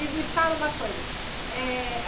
E me fala uma coisa. Eh